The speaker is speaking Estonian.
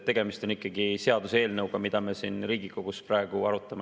Tegemist on seaduseelnõuga, mida me siin Riigikogus praegu arutame.